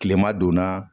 Kilema donna